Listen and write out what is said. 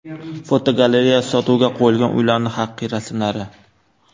Fotogalereya: Sotuvga qo‘yilgan uylarning haqiqiy rasmlari.